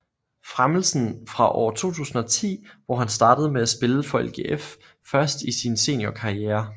Fremelsen fra år 2010 hvor han startede med at spille for LGF først i sin seniorkarriere